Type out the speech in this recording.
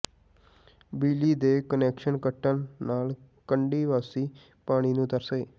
ਬਿਜਲੀ ਦੇ ਕੁਨੈਕਸ਼ਨ ਕੱਟਣ ਨਾਲ ਕੰਢੀ ਵਾਸੀ ਪਾਣੀ ਨੂੰ ਤਰਸੇ